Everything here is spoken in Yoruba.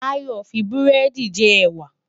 Tayo n fi búrèdi jè èwá